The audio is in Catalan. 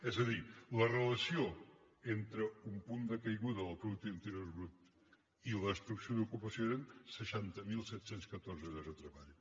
és a dir la relació entre un punt de caiguda del producte interior brut i la destrucció d’ocupació eren seixanta mil set cents i catorze llocs de treball